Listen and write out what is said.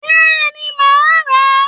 béeni, ma a ra